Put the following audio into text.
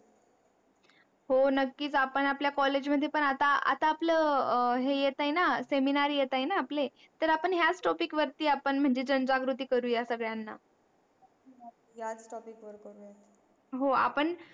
हो नक्की आता आपल्या college मध्ये पण आता आपले है येत आहे न seminar येत आहे न आपले तर आपण याच topic वर जण जागृती करूया सगड्याना याच topic वर करू या हो आपण